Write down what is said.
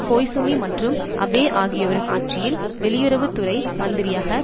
Koizumi மற்றும் Abe ஆகியோரின் ஆட்சியில் வெளியுறவு துறை மந்திரியாக